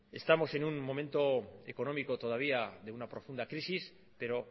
estamos en un momento económico todavía de una profunda crisis pero